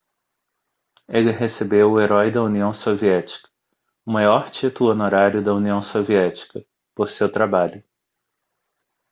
ele recebeu o herói da união soviética o maior título honorário da união soviética por seu trabalho